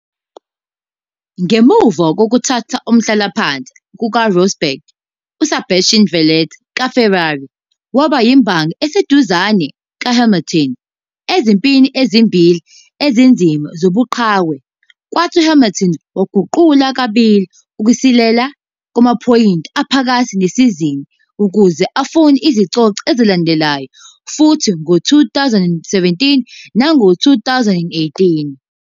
Ngemuva kokuthatha umhlalaphansi kukaRosberg, uSebastian Vettel kaFerrari waba yimbangi eseduzane kaHamilton ezimpini ezimbili ezinzima zobuqhawe, kwathi uHamilton waguqula kabili ukusilela kwamaphoyinti aphakathi nesizini ukuze afune izicoco ezilandelanayo futhi ngo-2017 nango-2018.